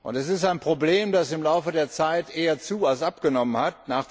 Es ist ein Problem, das im Laufe der Zeit eher zu als abgenommen hat.